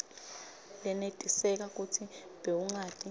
lenetiseka kutsi bewungati